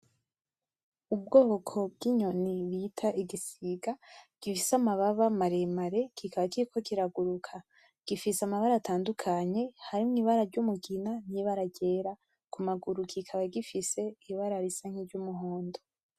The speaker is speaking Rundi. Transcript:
Ubwoko bw'inyoni bita igisiga gifise amababa maremare kikaba kiriko kiraguruka. Gifise amabara atandukanye harimwo ibara ry'umugina n'ibara ryera. Kumaguru kikaba gifise ibara risa nk’iryumuhondo.